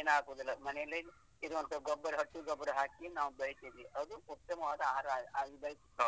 ಏನು ಹಾಕುದಿಲ್ಲ, ಮನೆಯಲ್ಲೇ ಇದು ಗೊಬ್ಬರ ಹಸು ಗೊಬ್ಬರ ಹಾಕಿ ನಾವು ಬೆಳೆಸಿದ್ದೀವಿ, ಅದು ಉತ್ತಮವಾದ ಆಹಾರ ಆಗಿ ಬೆಳೆಸ್ತೇವೆ.